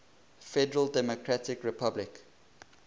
federal democratic republic